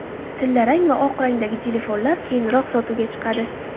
Tillarang va oq rangdagi telefonlar keyinroq sotuvga chiqadi.